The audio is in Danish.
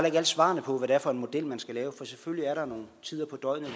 ikke alle svarene på hvad det er for en model man skal lave for selvfølgelig er der nogle tider på døgnet